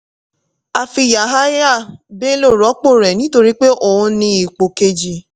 a fi yahaya bello rọ́pò rẹ̀ nítorí pé òun ní ipò kéji.